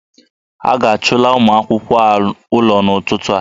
A ga-achụla ụmụ akwụkwọ a ụlọ n'ụtụtụ a